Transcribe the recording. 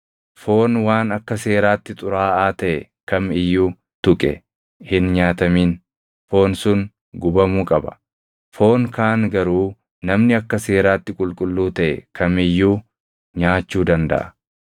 “ ‘Foon waan akka seeraatti xuraaʼaa taʼe kam iyyuu tuqe hin nyaatamin; foon sun gubamuu qaba. Foon kaan garuu namni akka seeraatti qulqulluu taʼe kam iyyuu nyaachuu dandaʼa.